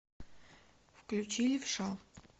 включи левша